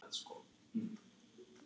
Herðið að og bindið hnút.